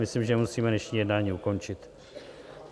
Myslím, že musíme dnešní jednání ukončit.